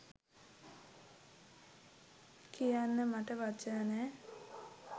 කියන්න මට වචන නෑ.